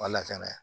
Wa lakana ye